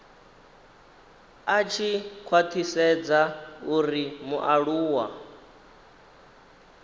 a tshi khwathisedza uri mualuwa